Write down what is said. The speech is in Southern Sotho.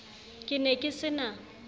ke ne ke se na